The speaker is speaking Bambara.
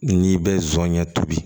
N'i bɛ zonɲɛ tobi